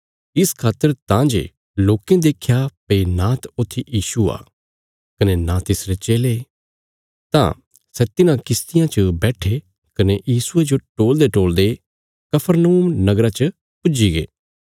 इस खातर तां जे लोकें देख्या भई नांत ऊत्थी यीशु आ कने नां तिसरे चेले तां सै तिन्हां किश्तियां च बैट्ठे कने यीशुये जो टोलदेटोलदे कफरनहूम नगरा च पुज्जीगे